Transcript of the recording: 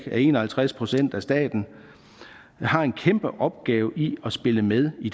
en og halvtreds procent af staten har en kæmpe opgave i at spille med i